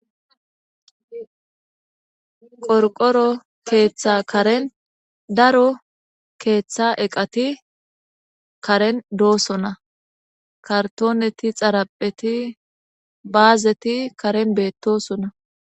qorqoro keeththa karen daro keeththa eqati karen doosona kartooneti xarapheti baazeti karen beettosona